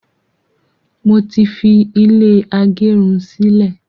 mọ tí fi ilé agerun sí lẹ.